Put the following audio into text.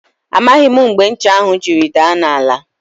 Amaghị m mgbe ncha ahụ jiri daa n' ala.